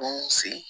Bon sen